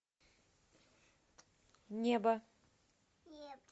небо